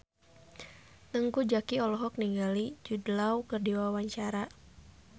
Teuku Zacky olohok ningali Jude Law keur diwawancara